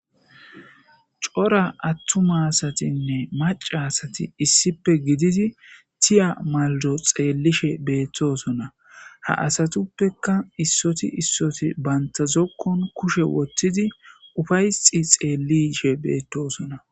cora attuma asatinne maca asati issippe gididi tiya maldo xeellishe beettosona ha asatuppeka issoti issoti bantazokkon kushe woththidi ufayxi xeelishe beettosona